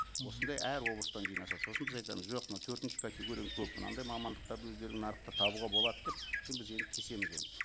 осындай әр облыстан жинаса сосын біз айтамыз жоқ мына төртінші категорияң көп мынандай мамандықтарды өздерің нарықта табуға болады деп соны біз енді кесеміз оны